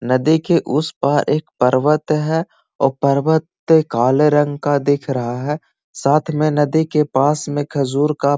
नदी के उस पार एक पर्वत है अ पर्वत काले रंग का दिख रहा है साथ में नदी के पास में खजूर का --